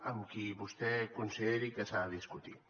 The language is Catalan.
amb qui vostè consideri que s’ha de discutir